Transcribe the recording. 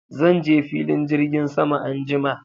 Zan je filin jirgin sama anjima